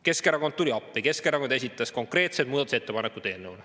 Keskerakond tuli appi ja esitas konkreetsed muudatusettepanekud.